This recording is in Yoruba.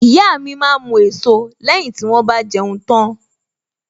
Ìyá mi máa ń mu èso lẹ́yìn tí wón bá jẹun tán.